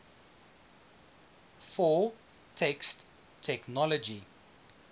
for text technology